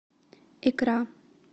икра